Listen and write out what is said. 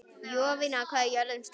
Jovina, hvað er jörðin stór?